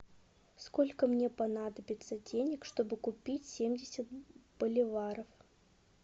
сколько мне понадобится денег чтобы купить семьдесят боливаров